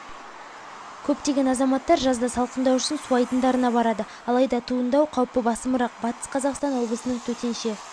көптеген азаматтар жазда салқындау үшін су айдындарына барады алайда туындау қаупі басымырақ батыс қазақстан облысының төтенше